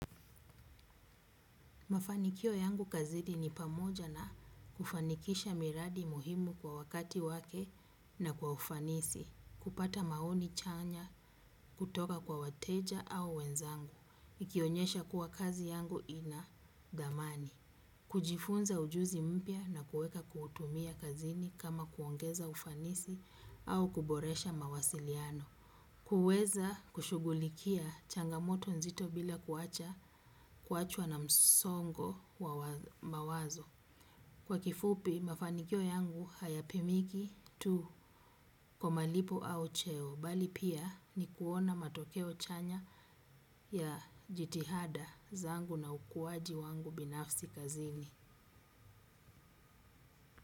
Mafanikio yangu kazini ni pamoja na kufanikisha miradi muhimu kwa wakati wake na kwa ufanisi, kupata maoni chanya kutoka kwa wateja au wenzangu, ikionyesha kuwa kazi yangu ina dhamani, kujifunza ujuzi mpya na kuweka kuutumia kazini kama kuongeza ufanisi au kuboresha mawasiliano. Kuweza kushugulikia changamoto nzito bila kuacha kuachwa na msongo wa mawazo. Kwa kifupi mafanikio yangu hayapimiki tu kwa malipo au cheo bali pia ni kuona matokeo chanya ya jitihada zangu na ukuwaji wangu binafsi kazini.